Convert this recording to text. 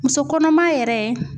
Muso kɔnɔma yɛrɛ